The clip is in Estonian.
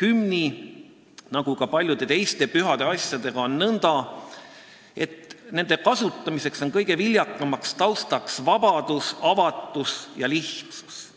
Hümni nagu ka paljude teiste pühade asjadega on nõnda, et nende kasutamisel on kõige viljakam taust vabadus, avatus ja lihtsus,